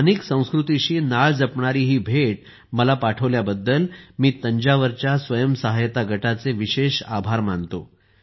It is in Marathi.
स्थानिक संस्कृतीशी नाळ जपणारी ही भेट मला पाठवल्याबद्दल मी तंजावरच्या स्वयंसहायता गटाचे विशेष आभार मानतो